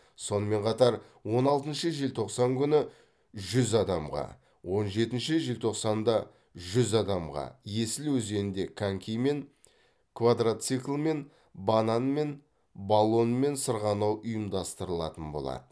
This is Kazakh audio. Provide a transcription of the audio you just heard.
сонымен қатар он алтыншы желтоқсан күні жүз адамға он жетінші желтоқсанда жүз адамға есіл өзенінде конькимен квадроциклмен банан мен баллонмен сырғанау ұйымдастыралатын болады